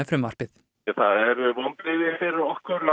frumvarpið það eru vonbrigði fyrir okkur